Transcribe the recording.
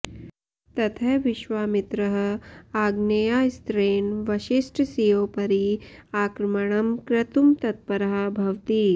ततः विश्वामित्रः आग्नेयास्त्रेण वसिष्ठस्योपरि आक्रमणं कर्तुं तत्परः भवति